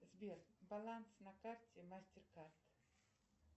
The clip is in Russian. сбер баланс на карте мастер кард